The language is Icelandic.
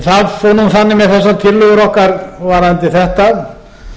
það fór þannig með þessar tillögur okkar varðandi þetta